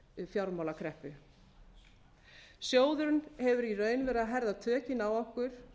fjármálakreppu sjóðurinn hefur í raun verið að herða tökin á okkur